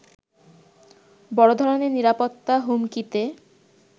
বড় ধরণের নিরাপত্তা হুমকিতে